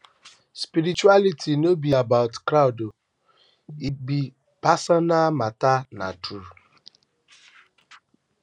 spirituality no be about crowd e be personal matter na true